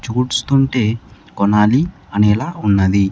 చూడ్స్తుంటే కొనాలి అనేలా ఉన్నది.